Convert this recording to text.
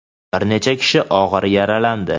bir necha kishi ogʼir yaralandi.